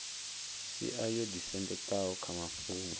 sia yo ḓisendekaho kha mafhungo